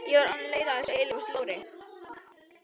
Ég var bara orðin leið á þessu eilífa slori.